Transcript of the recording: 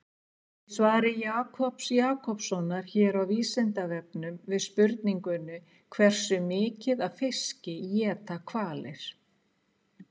Í svari Jakobs Jakobssonar hér á Vísindavefnum, við spurningunni Hversu mikið af fiski éta hvalir?